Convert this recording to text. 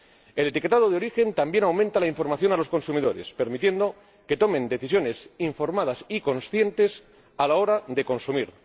El etiquetado de origen también aumenta la información a los consumidores, permitiendo que tomen decisiones informadas y conscientes a la hora de consumir.